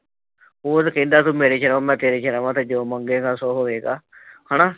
ਉਹ ਤਾਂ ਕਹਿੰਦਾ ਤੂੰ ਮੇਰੀ ਜਗ਼ਾਹ ਮੈਂ ਤੇਰੀ ਜਗ਼ਾਹ ਵਾ ਤੇ ਜੋ ਮੰਗੇਗਾ ਸੋ ਹੋਏਗਾ ਹੈ ਨਾ।